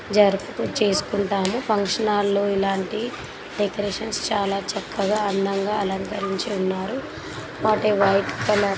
జర్పూ చేసుకుంటండ్రు. Function hall లో ఇలాంటి డెకరేషన్స్ చాలా చక్కగా అందంగా అలంకరించి ఉన్నారు. What a white colour.